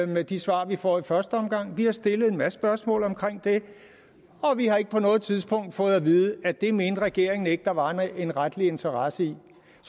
med de svar vi får i første omgang vi har stillet en masse spørgsmål om det og vi har ikke på noget tidspunkt fået at vide at det mente regeringen ikke at der var en retlig interesse i